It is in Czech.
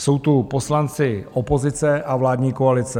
Jsou tu poslanci opozice a vládní koalice.